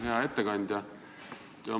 Hea ettekandja!